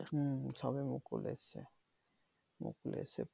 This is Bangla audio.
হম সবে মুকুল এসছে মুকুল এসছে ফুল